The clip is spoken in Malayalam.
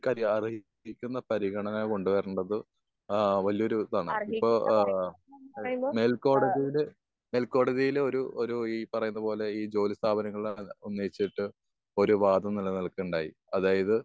അവർക്ക് അർഹിക്കുന്ന പരിഗണന കൊണ്ട് വരേണ്ടത് ഏഹ് വല്യൊരു ഇതാണ്. ഏഹ് ഇപ്പൊ ഏഹ് മേൽക്കോടതിയുടെ ഏഹ് മേൽക്കോടതിയിലെ ഒരു ഒരു ഏഹ് ഈ പറയുന്നത് പോലെ ഒരു ഈ ജോലി സ്ഥാപനങ്ങളെ ഉന്നയിച്ചിട്ട് ഒരു വാതം നിലനിൽക്കുകയുണ്ടായി. അതായത്